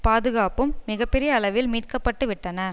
பாதுகாப்பும் மிக பெரிய அளவில் மீட்கப்பட்டுவிட்டன